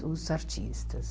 Os artistas.